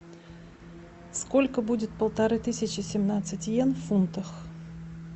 сколько будет полторы тысячи семнадцать йен в фунтах